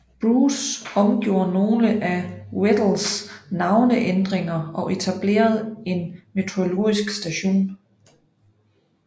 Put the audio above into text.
Bruce omgjorde nogle af Weddells navneændringer og etablerede en meteorologisk station